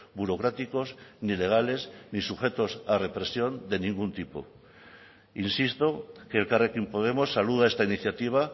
burocráticos ni legales ni sujetos a represión de ningún tipo insisto que elkarrekin podemos saluda esta iniciativa